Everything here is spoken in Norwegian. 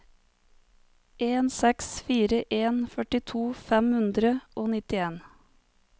en seks fire en førtito fem hundre og nittien